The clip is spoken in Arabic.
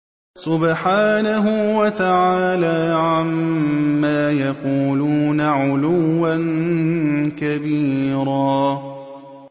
سُبْحَانَهُ وَتَعَالَىٰ عَمَّا يَقُولُونَ عُلُوًّا كَبِيرًا